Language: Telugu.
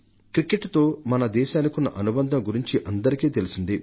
క్రికెట్తో మన దేశానికున్న అనుబంధం గురించి అందరికీ తెలిసిందే